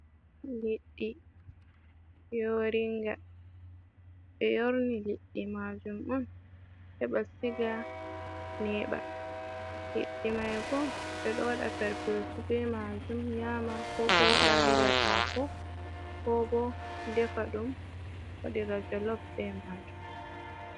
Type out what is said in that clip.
Liɗɗi yooringa, ɓe yorni liɗɗi maajum on, heɓa siga neeɓa. Liɗɗi may bo, ɓe ɗo waɗaa perpeesu be maajum nyaama, ko bo waɗa haa nder haako, ko bo defa ɗum, waɗira jolof be maajum.